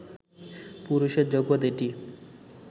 পুরুষের জগত এটি